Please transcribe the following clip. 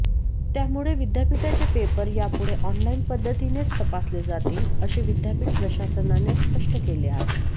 त्यामुळे विद्यापीठाचे पेपर यापुढे ऑनलाइन पद्धतीनेच तपासले जातील असे विद्यापीठ प्रशासनाने स्पष्ट केले आहे